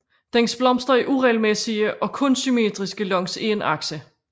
Dens blomster er uregelmæssige og kun symmetriske langs én akse